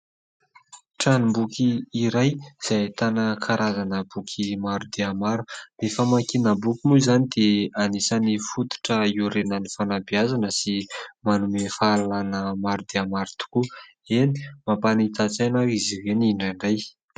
Tranom-boky iray izay ahitana karazana boky maro dia maro, ny famakiana boky moa izany dia anisan'ny fototra hiorenan'ny fanabeazana sy manome fahalalàna maro dia maro tokoa, eny mampanita-tsaina ary izy ireny indraindray.